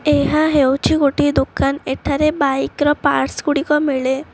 ଏହା ହେଉଛି ଗୋଟିଏ ଦୋକାନ୍ ଏଠାରେ ବାଇକ୍ ର ପର୍ଟସ୍ ଗୁଡ଼ିକ ମିଳେ।